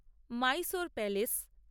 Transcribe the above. Mysore palace